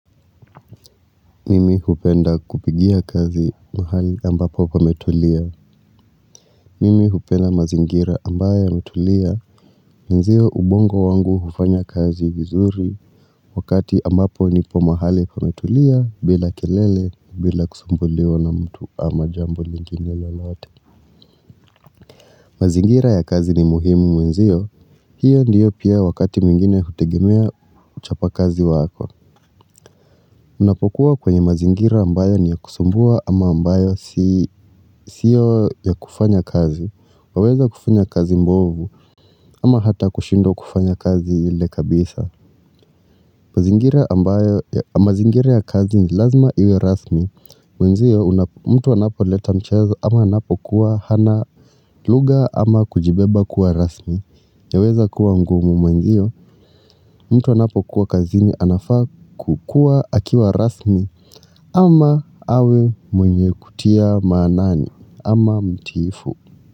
Mimi hupenda kupigia kazi mahali ambapo pametulia. Mimi hupenda mazingira ambayo yametulia. Nziyo ubongo wangu hufanya kazi vizuri wakati ambapo nipo mahali kumetulia bila kelele, bila kusumbuliwa na mtu ama jambo lingine lolote. Mazingira ya kazi ni muhimu mwenzio, hiyo ndiyo pia wakati mwingine hutegemea uchapakazi wako. Unapokuwa kwenye mazingira ambayo ni ya kusumbua ama ambayo siyo ya kufanya kazi, waweza kufanya kazi mbovu ama hata kushindwa kufanya kazi ile kabisa. Mazingira ya kazi ni lazima iwe rasmi Mwenzio mtu anapoleta mchezo ama anapokuwa hana lugha ama kujibeba kuwa rasmi yaweza kuwa mgumu mwenzio mtu anapokuwa kazini anafaa kukuwa akiwa rasmi ama awe mwenye kutia maanani ama mtiifu.